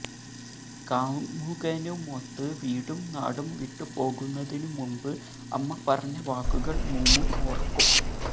കാമുകനുമൊത്ത് വീടും നാടും വിട്ടുപോകുന്നതിനുമുൻപ് അമ്മ പറഞ്ഞ വാക്കുകൾ മൂമു ഓർക്കും